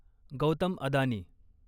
Gautam Adani